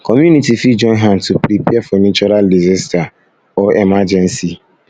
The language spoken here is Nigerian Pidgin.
community fit join hand to prepare for natural disaster for natural disaster or emergency